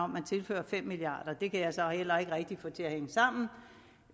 man tilfører fem milliard kroner det kan jeg så heller ikke rigtig få til at